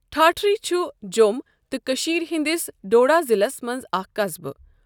ٹھاٹِھرِی چھُ جۆم تہٕ کٔشیٖر ہِندِس ڈُوڈا ضِلَص مَنٛز اَكھ قَصبہٕ.